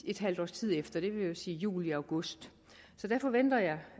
et halvt års tid efter det vil sige juli august så der forventer jeg